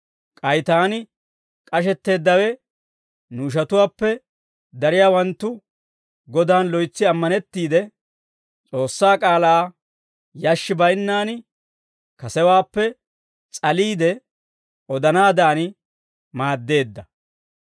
K'ay taani k'ashetteeddawe nu ishatuwaappe dariyaawanttu Godan loytsi ammanettiide, S'oossaa k'aalaa yashshi baynnaan kasewaappe s'aliide odanaadan maaddeedda.